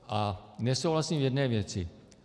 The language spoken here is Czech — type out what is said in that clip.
A nesouhlasím v jedné věci.